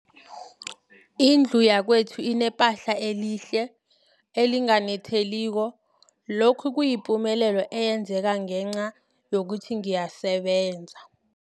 Indlu yakwethu inephahla elihle, elinganetheliko, lokhu kuyipumelelo eyenzeke ngenca yokuthi ngiyasebenza.